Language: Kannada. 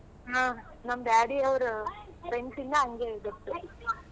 ಆ ನಮ್ daddy ಅವ್ರ friends ಇಂದ ಹಂಗೆ ಗೊತ್ತು.